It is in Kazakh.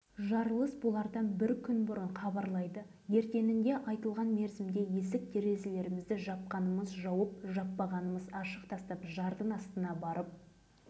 түсті де қазіргі ақжар ауылының сол кездегі бірауыз деген дала бригадасына келіп орналасты